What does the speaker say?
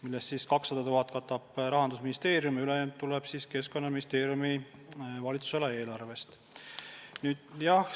Sellest 200 000 katab Rahandusministeerium ja ülejäänu tuleb Keskkonnaministeeriumi valitsusala eelarvest.